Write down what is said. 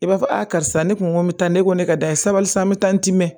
I b'a fɔ a karisa ne kun ko n bɛ taa ne ko ne ka da ye sabali san n bɛ taa n dimɛ